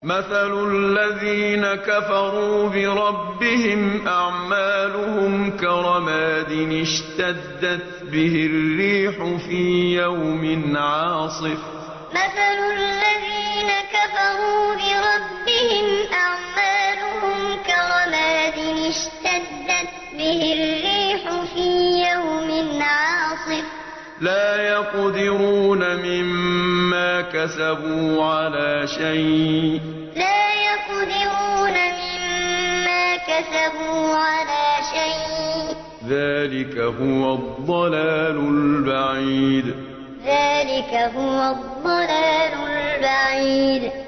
مَّثَلُ الَّذِينَ كَفَرُوا بِرَبِّهِمْ ۖ أَعْمَالُهُمْ كَرَمَادٍ اشْتَدَّتْ بِهِ الرِّيحُ فِي يَوْمٍ عَاصِفٍ ۖ لَّا يَقْدِرُونَ مِمَّا كَسَبُوا عَلَىٰ شَيْءٍ ۚ ذَٰلِكَ هُوَ الضَّلَالُ الْبَعِيدُ مَّثَلُ الَّذِينَ كَفَرُوا بِرَبِّهِمْ ۖ أَعْمَالُهُمْ كَرَمَادٍ اشْتَدَّتْ بِهِ الرِّيحُ فِي يَوْمٍ عَاصِفٍ ۖ لَّا يَقْدِرُونَ مِمَّا كَسَبُوا عَلَىٰ شَيْءٍ ۚ ذَٰلِكَ هُوَ الضَّلَالُ الْبَعِيدُ